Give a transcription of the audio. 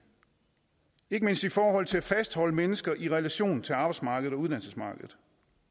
ikke mindst i forhold til at fastholde mennesker i en relation til arbejdsmarkedet og uddannelsesmarkedet